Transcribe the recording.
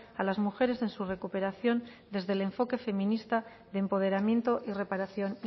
a las mujeres en su recuperación desde el enfoque feminista de empoderamiento y reparación